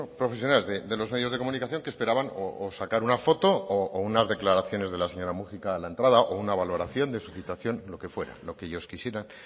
profesionales de los medios de comunicación que esperaban sacar una foto o unas declaraciones de la señora múgica a la entrada o una valoración de su citación lo que fuera lo que ellos quisieran